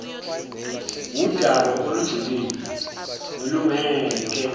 wudaba olujulile nolungeke